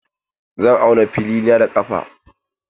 Zan auna filina da ƙafa.